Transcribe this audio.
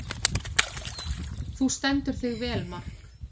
Þú stendur þig vel, Mark!